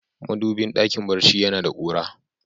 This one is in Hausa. Madubi dakin barci ya na da kura.